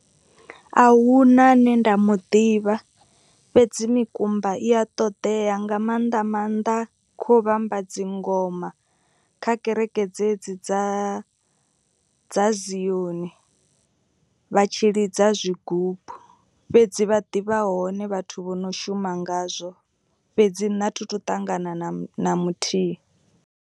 A huna ane nda muḓivha fhedzi mikumba i a ṱoḓea nga maanḓa maanḓa kho vhamba dzingoma. Kha kereke dzedzi dza dza zioni vha tshi lidza zwigubu fhedzi vha ḓivha hone vhathu vho no shuma ngazwo fhedzi nṋe a thi thu ṱangana na muthihi.